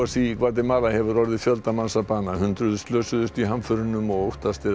í Gvatemala hefur orðið fjölda manns að bana hundruð slösuðust í hamförunum og óttast er að